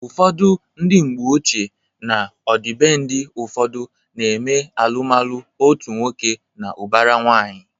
Ụfọdụ ndị mgbeochie na ọdịbendị ụfọdụ na eme alụmalụ otu nwoke na ụbara nwanyị